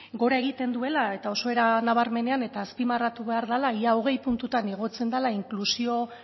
gora egiten duela eta oso era nabarmenean eta azpimarratu behar dela ia hogei puntutan igotzen dela inklusio